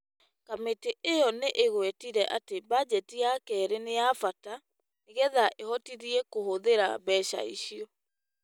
Kamĩtĩ ĩyo nĩ ĩgwetire atĩ bajeti ya kerĩ nĩ ya bata nĩgetha ĩhotithie kũhũthĩra mbeca icio,